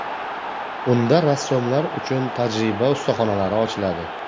Unda rassomlar uchun tajriba ustaxonalari ochiladi.